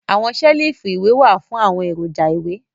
Awọn selifu iwẹ wa fun awọn eroja iwẹ